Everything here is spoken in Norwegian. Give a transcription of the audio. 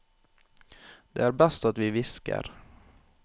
Det er best at vi hvisker.